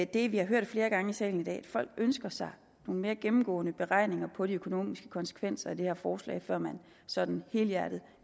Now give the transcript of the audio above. det vi har hørt flere gange i salen i dag folk ønsker sig nogle mere gennemgående beregninger på de økonomiske konsekvenser af det her forslag før man sådan helhjertet